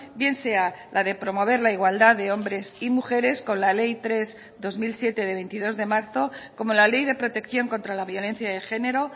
bien sea la de promover la igualdad de hombres y mujeres con la ley tres barra dos mil siete de veintidós de marzo como la ley de protección contra la violencia de género